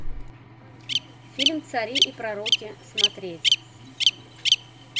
фильм цари и пророки смотреть